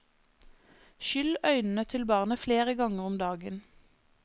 Skyll øynene til barnet flere ganger om dagen.